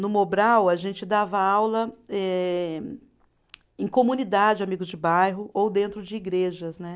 No Mobral, a gente dava aula eh, em comunidade, amigos de bairro, ou dentro de igrejas, né?